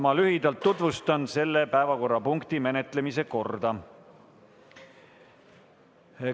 Ma lühidalt tutvustan selle päevakorrapunkti menetlemise korda.